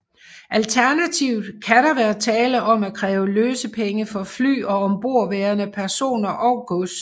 Alternativt kan der være tale om at kræve løsepenge for fly og ombordværende personer og gods